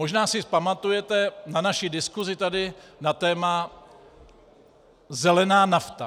Možná si pamatujete na naši diskusi tady na téma zelená nafta.